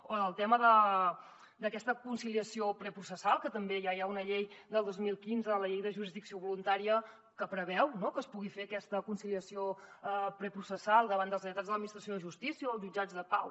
o del tema d’aquesta conciliació processal que també ja hi ha una llei del dos mil quinze la llei de jurisdicció voluntària que preveu que es pugui fer aquesta conciliació preprocessal davant dels lletrats de l’administració de justícia o els jutjats de pau